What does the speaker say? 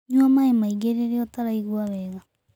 Nũa maĩ maĩngĩ rĩrĩa ũtaraĩgũa wega